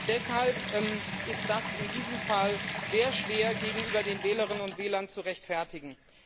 Deshalb ist das in diesem Fall sehr schwer gegenüber den Wählerinnen und Wählern zu rechtfertigen.